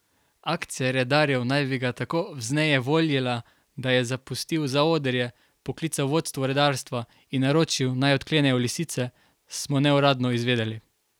Akcija redarjev naj bi ga tako vznejevoljila, da je zapustil zaodrje, poklical vodstvo redarstva in naročil, naj odklenejo lisice, smo neuradno izvedeli.